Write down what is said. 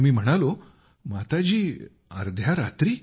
मी म्हणालोमाताजी अर्ध्या रात्री